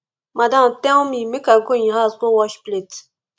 madam tell me make i go im house go wash plate